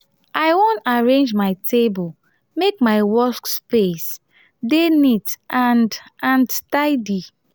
i wan arrange my table make my workspace dey neat and and tidy.